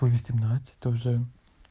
по восемнадцать тоже